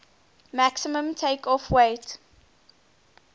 maximum takeoff weight